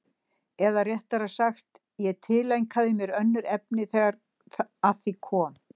Eða réttara sagt, ég tileinkaði mér önnur efni þegar að því kom.